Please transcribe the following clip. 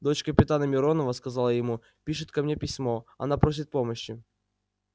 дочь капитана миронова сказал я ему пишет ко мне письмо она просит помощи